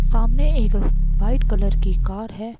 सामने एक white colour की कार है।